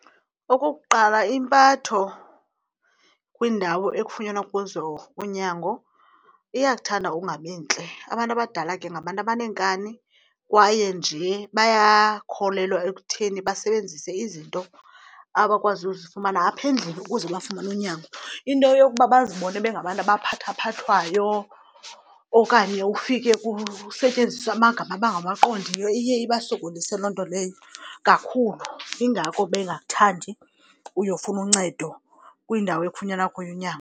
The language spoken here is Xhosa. Okokuqala, impatho kwiindawo ekufunyanwa kuzo unyango iyathanda ungabi ntle. Abantu abadala ke ngabantu abaneenkani kwaye nje bayakholelwa ekutheni basebenzise izinto abakwazi uzifumana apha endlini ukuze bafumane unyango. Into yokuba bazibone bengabantu abaphathaphathwayo okanye ufike kusetyenziswa amagama abangawaqondiyo iye ibasokolise loo nto leyo kakhulu. Yingako bengakuthandi uyofuna uncedo kwindawo ekufunyanwa kuyo unyango.